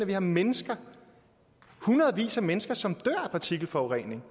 vi har mennesker hundredvis af mennesker som dør af partikelforurening